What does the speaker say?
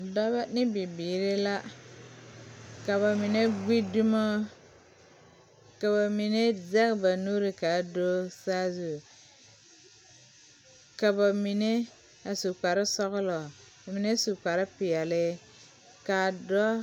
Dɔba ne bibiiri la ka ba mine gbi dumo ka ba mine zɛge ba nuuri k,a do saazu ka ba mine a su kparesɔglɔ ka mine su kparepeɛle k,a dɔɔ.